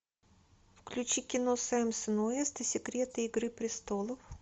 включи кино сэмса уэста секреты игры престолов